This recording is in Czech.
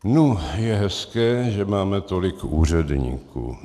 Nu, je hezké, že máme tolik úředníků.